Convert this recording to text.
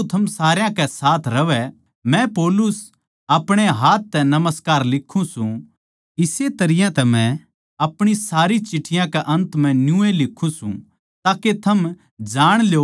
मै पौलुस अपणे हाथ तै नमस्कार लिक्खूँ सूं इस्से तरियां तै मै अपणी सारी चिट्ठियाँ के अन्त म्ह न्यूए लिक्खूँ सूं ताके थम जाण ल्यो के ये मेरी ओड़ तै सै